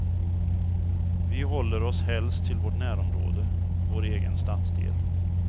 Vi håller oss helst till vårt närområde, vår egen stadsdel.